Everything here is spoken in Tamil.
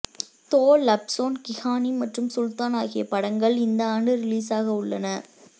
தோ லப்சோன் கி கஹானி மற்றும் சுல்தான் ஆகிய படங்கள் இந்த ஆண்டு ரிலீஸாக உள்ளன